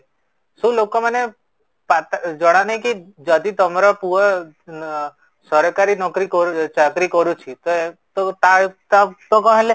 ସୁ ଲୋକ ମାନେ ଜଣା ନାହିଁ କି ଯଦି ତମ ପୁଅ ସରକାରୀ ନକରି ଚାକିରୀ କରୁଛି ତ ତା ତା କ'ଣ ହେଲେ